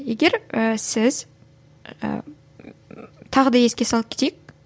егер і сіз і тағы да еске салып кетейік